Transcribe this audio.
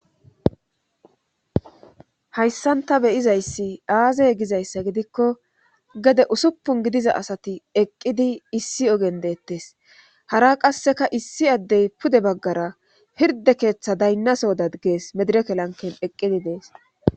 hayssan ta beyizayssi aaze gizayssa gidikko gede usuppun gidiza asati eqqidi issi ogen deettes hara qasseka issi addey pude baggara hirde keeththa daynnasohodadgees medirekelanken eqqidi dees